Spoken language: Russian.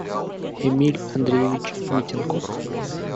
эмиль андреевич митинков